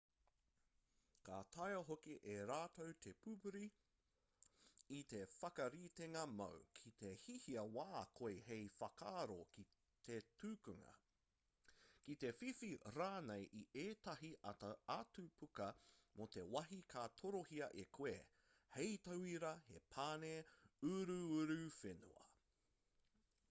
ka taea hoki e rātou te pupuri i te whakaritenga māu ki te hiahia wā koe hei whakaaro ki te tukunga ki te whiwhi rānei i ētahi atu puka mō te wāhi ka torohia e koe hei tauira he pane uruuruwhenua